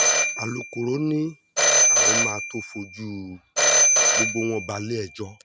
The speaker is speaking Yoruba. alūkkóró ni àwọn máa tóó fojú gbogbo wọn balẹ̀-ẹjọ́